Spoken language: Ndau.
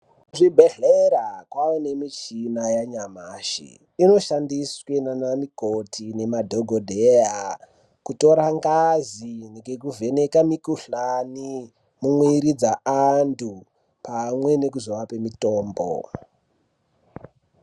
Kuzvibhedhlera kwane michina yanyamashi inoshandiswe nana mikoti nemadhokodheya kutora ngazi ngekuvheneka mikhuhlani mumwiri dzaantu pamwe nekuzoape mitombo.